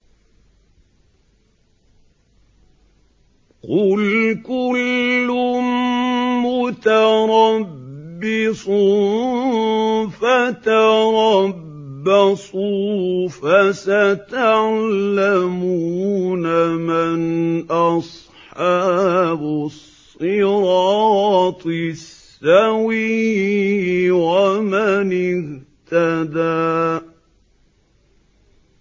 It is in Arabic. قُلْ كُلٌّ مُّتَرَبِّصٌ فَتَرَبَّصُوا ۖ فَسَتَعْلَمُونَ مَنْ أَصْحَابُ الصِّرَاطِ السَّوِيِّ وَمَنِ اهْتَدَىٰ